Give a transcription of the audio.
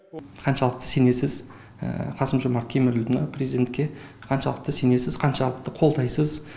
қаншалықты сенесіз қасым жомарт кемелұлына президентке қаншалықты сенесіз қаншалықты қолдайсыз